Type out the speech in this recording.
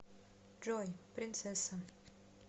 джой принцесса